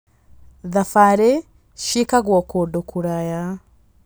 Thabarĩ cĩĩkagwo kũndũ kũraya.